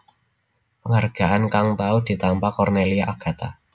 Penghargaan kang tau ditampa Cornelia Agatha